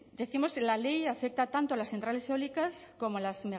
decimos la ley afecta tanto a las centrales eólicas como a las